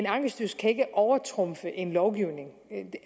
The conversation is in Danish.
ankestyrelsen kan ikke overtrumfe en lovgivning